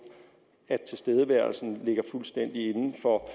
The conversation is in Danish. at tilstedeværelsen ligger fuldstændig inden for